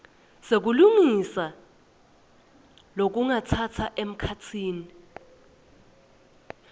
sekulungisa lokungatsatsa emkhatsini